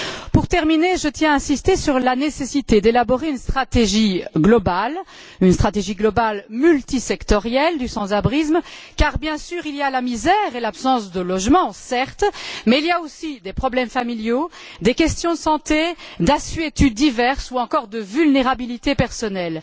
Pour terminer, je tiens à insister sur la nécessité d'élaborer une stratégie globale multisectorielle face au sans abrisme, car il y a bien sûr la misère et l'absence de logement, certes, mais il y a aussi des problèmes familiaux, des questions de santé, d'assuétudes diverses ou encore de vulnérabilité personnelle.